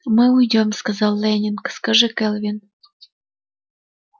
мы уйдём сказал лэннинг скажи кэлвин